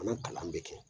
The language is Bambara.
An ka kalan bɛ kɛ